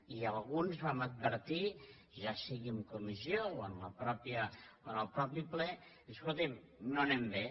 i alguns vam advertir ja sigui en comissió o en el mateix ple escolti’m no anem bé